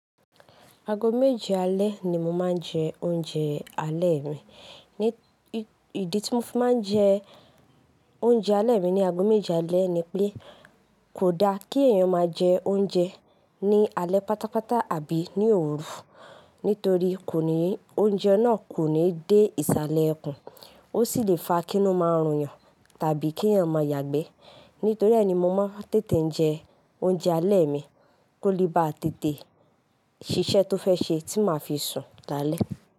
Aago méje alẹ́ ni mo máa ń jẹ oúnjẹ alẹ́ mi. Ídí tí mo fi máa ń jẹ oúnjẹ alẹ́ mi ní aago méje alẹ́ ni pé kò da kí èèyàn máa jẹ oúnjẹ ní alẹ́ pátápátá àbí ní òru nítorí kó ní oúnjẹ náà kò ní dé ìsàlẹ̀ ikùn, ó sì lè fa kí inú máa rùn yàn tàbí kí èèyàn máa yàgbẹ́. Nítorí ẹ ni mo máa ń tètè jẹ oúnjẹ alẹ́ mi kó lè ba tètè ṣiṣẹ́ tó fẹ́ ṣe tí màá fi sùn dalẹ́.